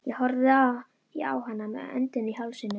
Ég horfði á hana með öndina í hálsinum.